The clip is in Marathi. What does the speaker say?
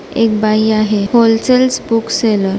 एक बाई आहे होलसेल्स बुक सेलर --